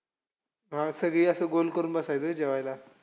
हा सगळे असं गोल करून बसायचे व्हयं जेवायला.